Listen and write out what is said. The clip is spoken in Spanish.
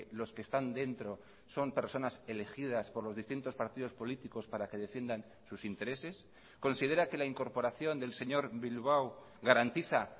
los que están dentro son personas elegidas por los distintos partidos políticos para que defiendan sus intereses considera que la incorporación del señor bilbao garantiza